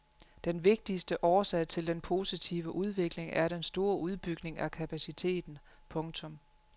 Den vigtigste årsag til den positive udvikling er den store udbygning af kapaciteten. punktum